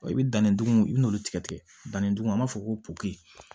I bɛ danni dugumugu i b'olu tigɛ tigɛ danni duguma an b'a fɔ ko popiye